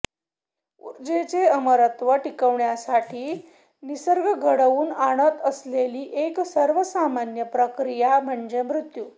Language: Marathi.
उर्जेचे अमरत्व टिकवण्यासाठी निसर्ग घडवून आणत असलेली एक सर्वसामान्य प्रक्रिया म्हणजे मृत्यू